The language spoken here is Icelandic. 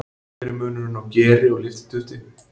Hver er munurinn á geri og lyftidufti?